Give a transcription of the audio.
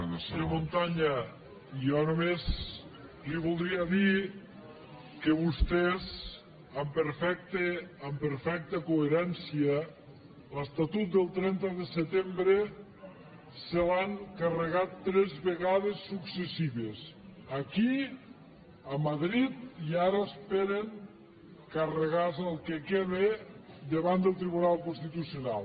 senyor montanya jo només li voldria dir que vostès amb perfecta coherència l’estatut del trenta de setembre se l’han carregat tres vegades successives aquí a madrid i ara esperen carregar se el que queda davant del tribunal constitucional